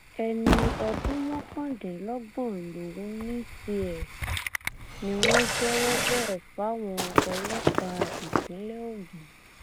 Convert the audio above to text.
ẹni ọdún mọkàndínlọgbọn lòun ní tiẹ ni wọn jẹwọ bẹẹ fáwọn ọlọpàá ìpínlẹ ogun